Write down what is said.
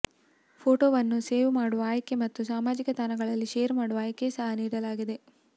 ಫೋಟೊವನ್ನು save ಮಾಡುವ ಆಯ್ಕೆ ಮತ್ತು ಸಾಮಾಜಿಕ್ ತಾಣಗಳಲ್ಲಿ ಶೇರ್ ಮಾಡುವ ಆಯ್ಕೆ ಸಹ ನೀಡಲಾಗಿದೆ